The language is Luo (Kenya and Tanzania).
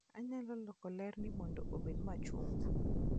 Anyalo loko lerni mondo obed machungwa.